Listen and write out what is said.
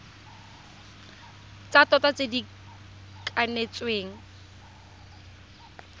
tsa tota tse di kanetsweng